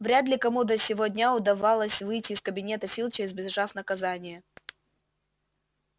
вряд ли кому до сего дня удавалось выйти из кабинета филча избежав наказания